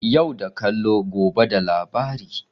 Yau da kallo, gobe da labari.